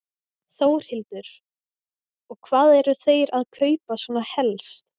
Þórhildur: Og hvað eru þeir að kaupa svona helst?